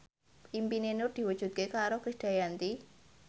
impine Nur diwujudke karo Krisdayanti